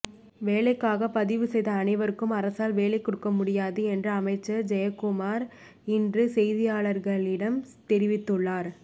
வேலைக்காக பதிவு செய்த அனைவருக்கும் அரசால் வேலை கொடுக்க முடியாது என்று அமைச்சர் ஜெயக்குமார் இன்று செய்தியாளர்களிடம் தெரிவித்துள்ளார்